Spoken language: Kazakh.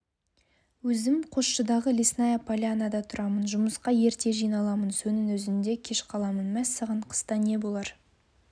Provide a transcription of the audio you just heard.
өзім қосшыдағы лесная полянада тұрамын жұмысқа ерте жиналамын соның өзінде кеш қаламын мәссаған қыста не болар